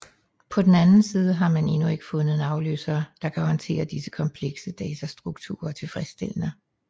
På den anden side har man endnu ikke fundet en afløser der kan håndtere disse komplekse datastrukturer tilfredsstillende